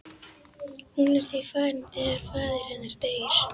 Hún er því farin þegar faðir hennar deyr.